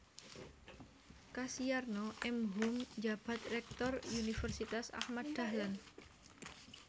Kasiyarno M Hum njabat Rektor Universitas Ahmad Dahlan